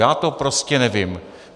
Já to prostě nevím.